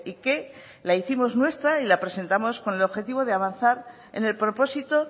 que la hicimos nuestra y la presentamos con el objetivo de avanzar en el propósito